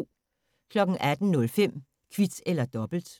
18:05: Kvit eller dobbelt